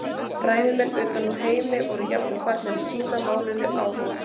Fræðimenn utan úr heimi voru jafnvel farnir að sýna málinu áhuga.